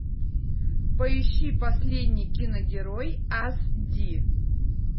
поищи последний киногерой ас ди